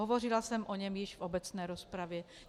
Hovořila jsem o něm již v obecné rozpravě.